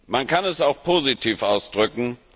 Man kann es auch positiv ausdrücken.